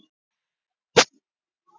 Indiana, hvernig er veðrið á morgun?